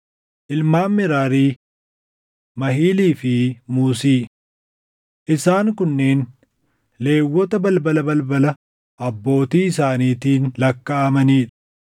Ilmaan Meraarii: Mahilii fi Muusii. Isaan kunneen Lewwota balbala balbala abbootii isaaniitiin lakkaaʼamanii dha: